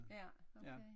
Ja okay